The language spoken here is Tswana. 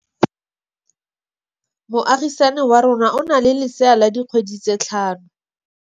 Moagisane wa rona o na le lesea la dikgwedi tse tlhano.